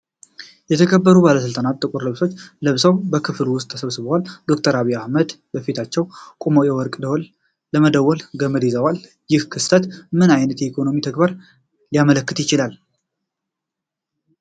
የተከበሩ ባለስልጣናት ጥቁር ልብሶችን ለብሰው በክፍል ውስጥ ተሰብስበዋል። ዶክተር አብይ አህመድ በፊታቸው ቆመው የወርቅ ደወል ለመደወል ገመድ ይዘዋል። ይህ ክስተት ምን አይነት የኢኮኖሚ ተግባርን ሊያመለክት ይችላል?